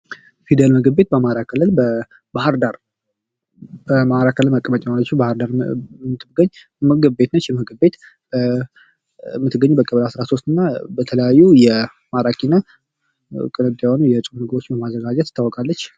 ፊደል ምግብ ቤት በአማራ ክልል በባህርዳር በአማራ ክልል መቀመጫ በሆነችው በባህርዳር የምትገኝ ምግብ ቤት ነች። ይች ምግብ ቤት የምትገኘው በቀበሌ አስራ ሶስት እና በተለያዩ ማራኪ እና ቅንጡ የሆኑ የጾም ምግቦች በማዘጋጀት ትታወቃለች።